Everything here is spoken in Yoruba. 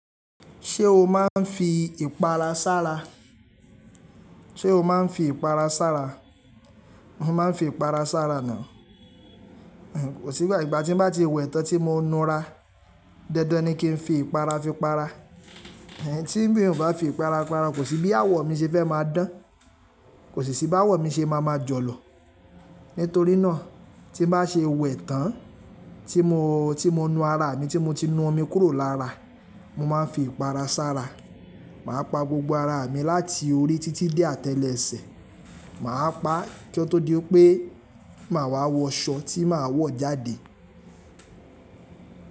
Ṣé o máa ń fi ìpara sára? Ṣé o máa ń fi ìpara sára? Mo máa ń fi ìpara sára ná. Kò sí ìgbà ìgbà tí n bá ti wẹ̀ tán tí mo nu ara. Dandan ni kí n fi ìpara fi para. Tí mi ò bá fi ìpara para, kò sí bí àwọ̀ mi ṣe fẹ́ máa dán, kò sí sí bí àwọ̀ mi ṣe máa ma jọ̀lọ̀. Nítorí náà, tí n bá ṣe wẹ̀ tán, tí mo, tí mo nu ara mi, tí mo ti nu omi kúrò lára, mo máa ń fi ìpara sára. Máa pa gbogbo ara mi láti orí títí dé àtẹ́lẹsẹ̀. Máa pa kí ó tó di pé màá wọ aṣọ tí màá wọ̀ jáde.